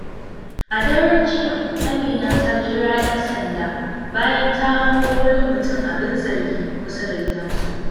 A daren jiya, Amina ta kira ƴan sanda bayan ta hango wani mutum abin zargi kusa da gidansu.